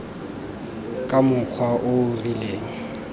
ka mokgwa o o rileng